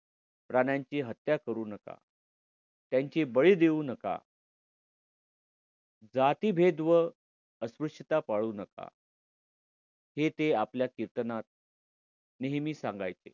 प्राण्यांची हत्या करू नका. त्यांची बळी देऊ नका जातिभेद व अस्पृश्यता पाळू नका हे ते आपल्या कीर्तनात नेहमी सांगायचे.